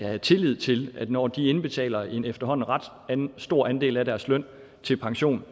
have tillid til at når de indbetaler en efterhånden ret stor andel af deres løn til pension